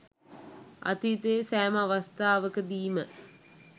අතීතයේ සෑම අවස්ථාවකදීම